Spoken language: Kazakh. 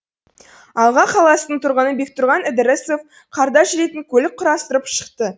алға қаласының тұрғыны бектұрған ідірісов қарда жүретін көлік құрастырып шықты